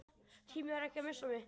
Tímir ekki að missa mig.